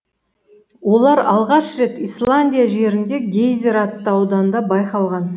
олар алғаш рет исландия жерінде гейзер атты ауданда байқалған